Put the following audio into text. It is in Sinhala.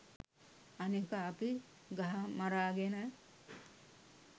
අනික අපි ගහමරාගෙන